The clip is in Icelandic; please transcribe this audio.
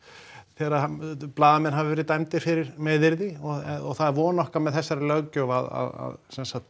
þegar blaðamenn hafa verið dæmdir fyrir meiðyrði og það er von okkar með þessari löggjöf að